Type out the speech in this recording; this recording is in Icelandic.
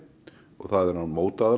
og það er án